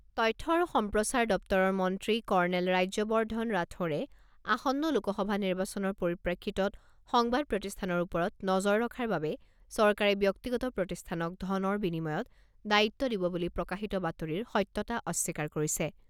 তথ্য আৰু সম্প্ৰচাৰ দপ্তৰৰ মন্ত্ৰী কৰ্ণেল ৰাজ্যবৰ্ধন ৰাথোড়ে, আসন্ন লোকসভা নিৰ্বাচনৰ পৰিপ্ৰেক্ষিতত সংবাদ প্ৰতিষ্ঠানৰ ওপৰত নজৰ ৰখাৰ বাবে চৰকাৰে ব্যক্তিগত প্ৰতিষ্ঠানক ধনৰ বিনিময়ত দায়িত্ব দিব বুলি প্ৰকাশিত বাতৰিৰ সত্যতা অস্বীকাৰ কৰিছে।